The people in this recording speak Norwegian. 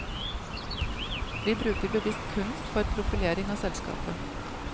Vi bruker bevisst kunst for profilering av selskapet.